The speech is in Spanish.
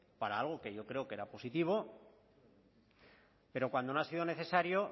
para algo que yo creo que era positivo pero cuando no ha sido necesario